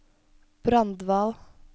Brandval